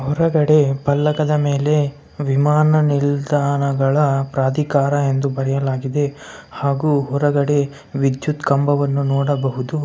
ಹೊರಗಡೆ ಪಲ್ಲಕದ ಮೇಲೆ ವಿಮಾನ ನಿಲ್ದಾಣಗಳ ಪ್ರದಿಕಾರಿ ಎಂದು ಬರೆಯಲಾಗಿದೆ ಹಾಗು ಹೊರಗಡೆ ವಿದ್ಯುತ್ ಕಂಬವನ್ನು ನೋಡಬಹುದು .